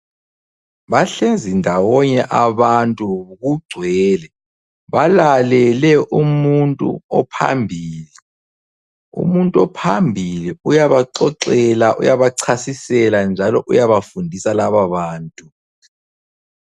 Bahlezi ndawonye abantu kugcwele. Balalele umuntu ophambili. Umuntu ophambili uyabaxoxela, uyabachasisela njalo uyabafundisa lababantu.